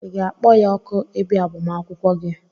Ị ga-akpọ ya òkù ị bịa agbamakwụkwọ gị?